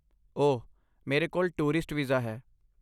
ਓਹ, ਮੇਰੇ ਕੋਲ ਟੂਰਿਸਟ ਵੀਜ਼ਾ ਹੈ